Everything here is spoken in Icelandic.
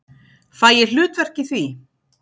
Fæ ég hlutverk í því?